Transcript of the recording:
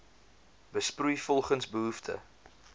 besproei volgens behoefte